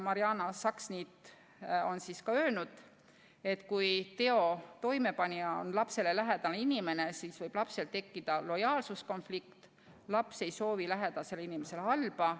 Mariana Saksniit on ka öelnud, et kui teo toimepanija on lapsele lähedane inimene, siis võib lapsel tekkida lojaalsuskonflikt – laps ei soovi lähedasele inimesele halba.